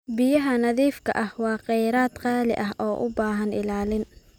Biyaha nadiifka ah waa kheyraad qaali ah oo u baahan ilaalin.